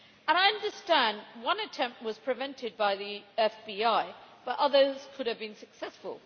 I understand one attempt was prevented by the FBI, but others could have been successful.